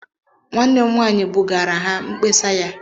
Nwanne m nwaanyị bugaara ha mkpesa ya.